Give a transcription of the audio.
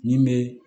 Nin bɛ